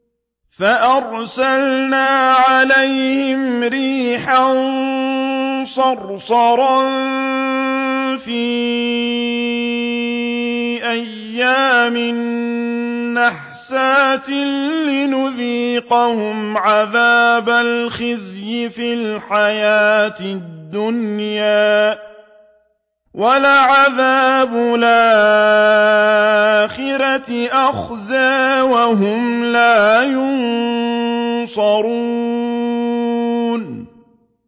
فَأَرْسَلْنَا عَلَيْهِمْ رِيحًا صَرْصَرًا فِي أَيَّامٍ نَّحِسَاتٍ لِّنُذِيقَهُمْ عَذَابَ الْخِزْيِ فِي الْحَيَاةِ الدُّنْيَا ۖ وَلَعَذَابُ الْآخِرَةِ أَخْزَىٰ ۖ وَهُمْ لَا يُنصَرُونَ